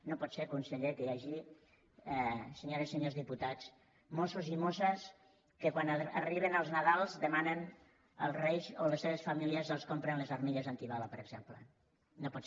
no pot ser conseller que hi hagi senyores i senyors diputats mossos i mosses que quan arriben els nadals demanen als reis o les seves famílies que els comprin les armilles antibala per exemple no pot ser